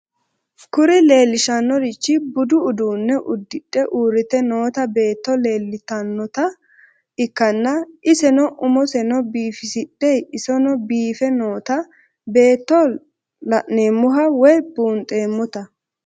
Kuni lelishanorich budu udune udixe urite noota beeto leelitanoota ikana iseno umoseno bifisixe iseno biife noota beeto lanemoha woyi bunxemote